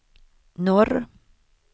norr